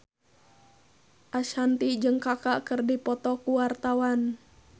Ashanti jeung Kaka keur dipoto ku wartawan